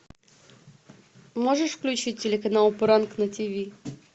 можешь включить телеканал пранк на ти ви